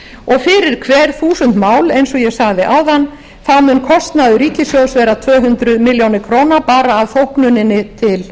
og fyrir hver þúsund mál eins og ég sagði áðan þá mun kostnaður ríkissjóðs verða tvö hundruð milljónir króna bara af þóknuninni til